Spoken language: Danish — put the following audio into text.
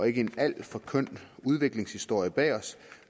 ikke alt for køn udviklingshistorie bag os